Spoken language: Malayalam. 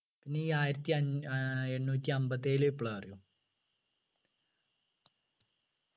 നീ ആയിരത്തി അഞ് ആഹ് എണ്ണൂറ്റിഅമ്പത്തിയേഴിലെ വിപ്ലവം അറിയോ